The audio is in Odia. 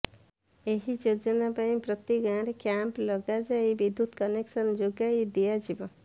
ଏହି ଯୋଜନା ପାଇଁ ପ୍ରତି ଗାଁରେ କ୍ୟାମ୍ପ ଲଗାଯାଇ ବିଦ୍ୟୁତ୍ କନେକ୍ସନ ଯୋଗାଇ ଦିଆଯିବ